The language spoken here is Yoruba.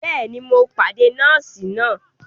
Bẹẹni, Mó pàdé nọọsi náà